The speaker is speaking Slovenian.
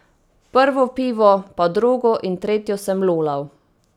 Prvo pivo, pa drugo in tretjo sem lulal.